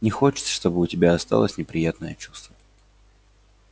не хочется чтобы у тебя осталось неприятное чувство